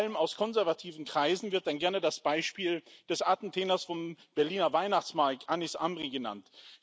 Vor allem aus konservativen Kreisen wird dann gerne das Beispiel des Attentäters vom Berliner Weihnachtsmarkt, Anis Amri, genannt.